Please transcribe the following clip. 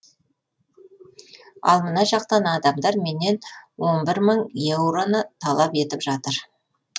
ал мына жақтан адамдар менен он бір мың евроны талап етіп жатыр